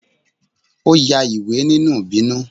o ya ìwé ninú ibinú